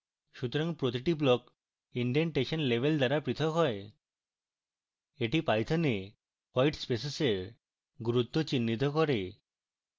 সুতরাং প্রতিটি block indentation level দ্বারা পৃথক হয়